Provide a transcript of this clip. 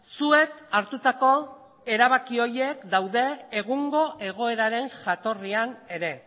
zuek hartutako erabaki horiek daude egungo egoeraren jatorrian ere